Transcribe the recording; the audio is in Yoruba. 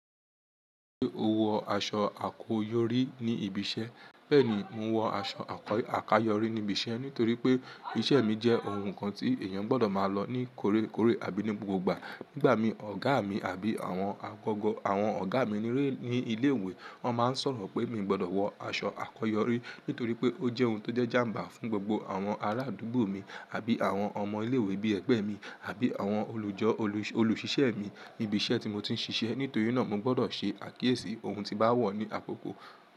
Ṣé o wọ aṣọ àkọyọrí ní ibi iṣẹ́? Bẹ́ẹ̀ni, mo wọ aṣọ àkayọrí ní ibi iṣẹ́ nítorí pé ìṣe mi jẹ́ ohun kan tí èèyàn gbọ́dọ̀ máa lọ ní kọ̀rẹ́kọ̀rẹ́ àbí ní gbogbogbà. Nígbà mi, ọ̀gá mi àbí awon àwọn ọ̀gá mi ní ilé ìwé, wọ́n máa ń sọ̀rọ̀ pé mi gbọ́dọ̀ wọ aṣọ àkọyọrí nítorí pé ó jẹ́ ohun tó jẹ́ jàm̀bà fún gbogbo àwọn arádúgbò mi àbí àwọn ọmọ ilé ìwé bí ẹgbẹ́ mi àbí àwọn olùṣìṣẹ́ mi ní ibi iṣẹ́ tí mo ti ń ṣiṣẹ́. Nítorí náà mo gbọ́dọ̀ ṣe àkíyèsí ohun tí bá wọ̀ ní àkókò.